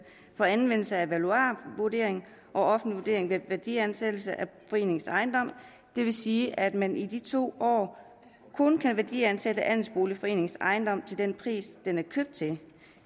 for anvendelse af valuarvurdering og offentlig vurdering ved værdiansættelse af foreningens ejendom det vil sige at man i de to år kun kan værdiansætte andelsboligforeningens ejendom til den pris den er købt til